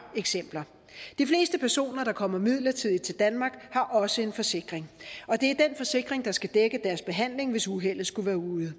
eksempler de fleste personer der kommer midlertidigt til danmark har også en forsikring og det er den forsikring der skal dække deres behandling hvis uheldet skulle være ude